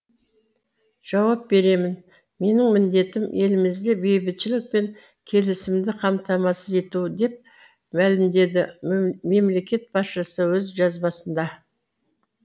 жауап беремін менің міндетім елімізде бейбітшілік пен келісімді қамтамасыз ету деп мәлімдеді мемлекет басшысы өз жазбасында